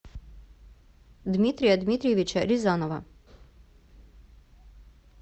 дмитрия дмитриевича рязанова